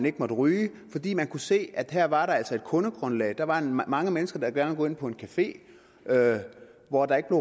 ikke måtte ryges fordi man kunne se at her var der altså et kundegrundlag der var mange mennesker der gerne ville gå ind på en café hvor der ikke